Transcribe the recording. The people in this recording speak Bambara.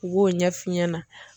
U b'o ɲɛf'u ɲɛna.